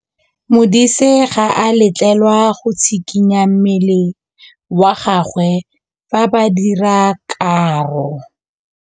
Modise ga a letlelelwa go tshikinya mmele wa gagwe fa ba dira karô.